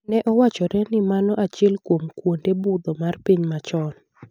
Ne owachore ni mano achiel kuom kwonde budho mar piny machon.